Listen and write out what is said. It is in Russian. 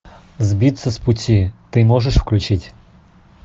сбиться с пути ты можешь включить